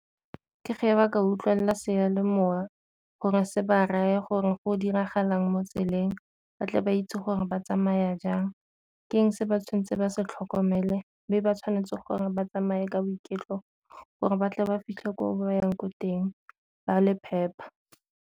Ke fa ba ka utlwelela seyalemoya gore se ba raya gore go diragalang mo tseleng ba tle ba itse gore ba tsamaya jang, ke eng se ba tshwanetseng ba se tlhokomele be ba tshwanetse gore ba tsamaye ka boiketlo gore ba tle ba fitlhe ko ba yang ko teng ba le phepa.